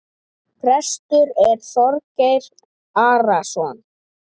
Prestur er Þorgeir Arason.